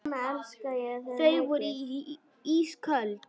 Þau voru ísköld.